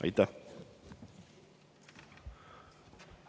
Aitäh!